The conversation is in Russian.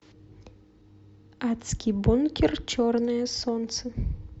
адский бункер черное солнце